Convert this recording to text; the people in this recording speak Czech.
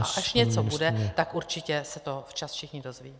A až něco bude, tak určitě se to včas všichni dozvědí.